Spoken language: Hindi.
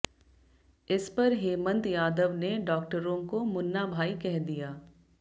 इस पर हेमंत यादव ने डाक्टरों को मुन्ना भाई कह दिया